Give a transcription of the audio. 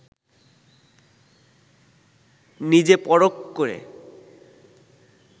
নিজে পরখ করে